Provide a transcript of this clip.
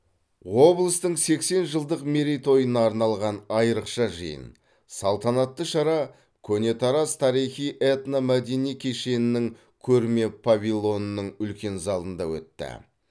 облыстың сексен жылдық мерейтойына арналған айрықша жиын салтанатты шара көне тараз тарихи этномәдени кешенінің көрме павильонының үлкен залында өтті